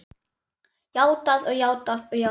Játað og játað og játað.